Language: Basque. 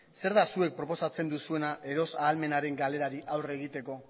zer da zuek proposatzen duzuena erosahalmenaren galerari aurre egiteko